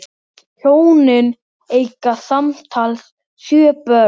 Hjónin eiga samtals sjö börn.